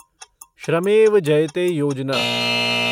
श्रमेव जयते योजना